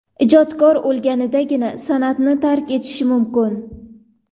Ijodkor o‘lgandagina san’atni tark etishi mumkin.